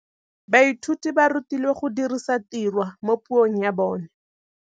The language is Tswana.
Baithuti ba rutilwe go dirisa tirwa mo puong ya bone.